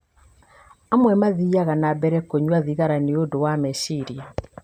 Amwe mathiaga na mbere kũnyua thigara nĩ ũndũ wa meciria.